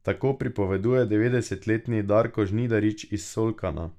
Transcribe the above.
Tako pripoveduje devetdesetletni Darko Žnidarič iz Solkana.